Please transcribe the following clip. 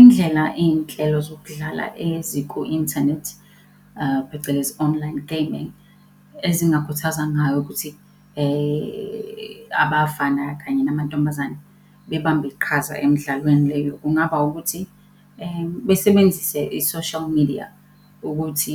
Indlela iynhlelo zokudlala eziku-inthanethi phecelezi, online gaming ezingakhuthaza ngayo ukuthi abafana kanye namantombazane bebambe iqhaza emidlalweni leyo, kungaba ukuthi besebenzise i-social media ukuthi